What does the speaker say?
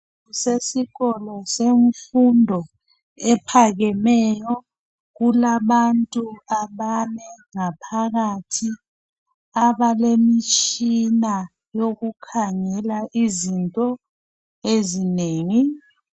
kusesikolo semfundo ephakemeyo kulabantu abane ngaphakathi abalemtshina yokukhangela izinto ezinengi.